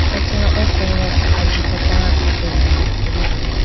acha oko ajikata atene tulitelayibo.